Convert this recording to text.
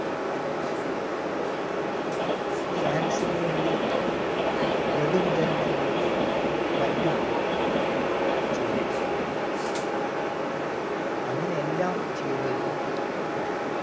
fans ന് വേണ്ടി laddu വിതരണങ്ങളും മറ്റും ചെയ്യും അങ്ങനെ എല്ലാം ചെയ്‌തുകൊണ്ട്‌